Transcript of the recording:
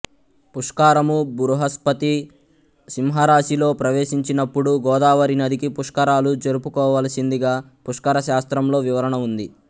పుష్కరము బృహస్పతి సింహరాశిలో ప్రవేశించినప్పుడు గోదావరి నదికి పుష్కరాలు జరుపుకోవలసిందిగా పుష్కర శాస్త్రంలో వివరణ ఉంది